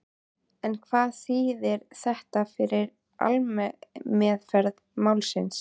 En hvað þýðir þetta fyrir aðalmeðferð málsins?